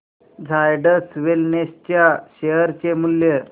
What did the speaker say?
Zydus Wellness च्या share चे मूल्य